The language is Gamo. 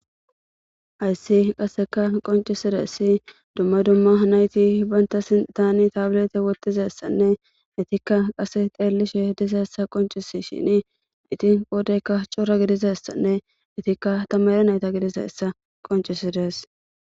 Hayssi qasseka qoncisidaysi dumma dumma nayti banta sitaani tabilete wotizessanne itikka qase xeellishe dizassa qoncisishini itin qoodeykka c'ora gidizassanne itikka tammare nayta gidizayssa qonc'isides